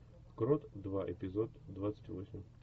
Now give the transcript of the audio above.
крот два эпизод двадцать восемь